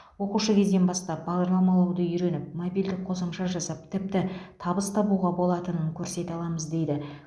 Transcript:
оқушы кезден бастап бағдарламалауды үйреніп мобильдік қосымша жасап тіпті табыс табуға болатынын көрсете аламыз дейді